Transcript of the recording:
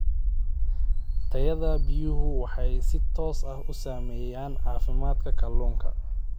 Tayada biyuhu waxay si toos ah u saameeyaan caafimaadka kalluunka.